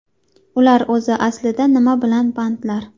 Ular o‘zi aslida nima bilan bandlar?